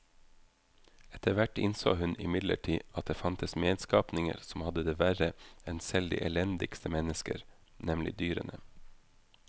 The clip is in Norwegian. Etterhvert innså hun imidlertid at det fantes medskapninger som hadde det verre enn selv de elendigste mennesker, nemlig dyrene.